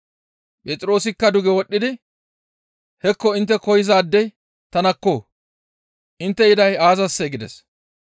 Phexroosikka duge wodhdhidi, «Hekko intte koyzaadey tanakko! Intte yiday aazassee?» gides.